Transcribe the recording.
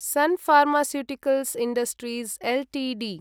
sun Pharmaceuticals Industries Ltd